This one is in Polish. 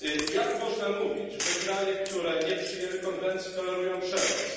Jak można mówić, że kraje, które nie przyjęły konwencji, tolerują przemoc?!